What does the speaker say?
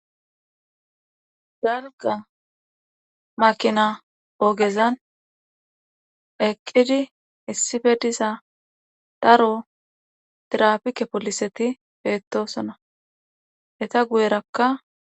dalqa makina ogezan eqqidi issife diza daro tirapike poliseti beettosona eta guyerakka